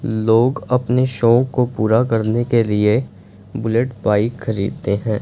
लोग अपने शौक को पूरा करने के लिए बुलेट बाइक खरीदें हैं।